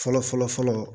Fɔlɔ fɔlɔ fɔlɔ fɔlɔ